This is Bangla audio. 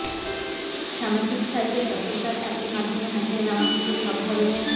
সামাজিক সাইটে চটকদার অ্যাপের মাধ্যমে হাতিয়ে নেওয়া হচ্ছে সব ধরনের